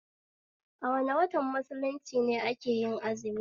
A wane watan mulunci ne akeyin azumi?